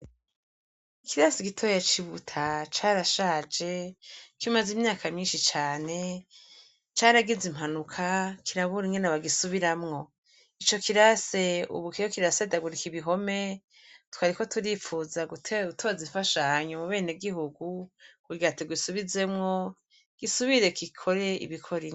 Ikirase igitoya cibuta carashaje kimaze imyaka myinshi cane caragize impanuka kirabura ingene bagisubiramwo, ico kirase ubukeyo kirase dagurika ibihome twariko turifuza gutewa wutozifashanyu mu bene gihugu kuryato gisubizemwo gisubire kikore ibikoreia.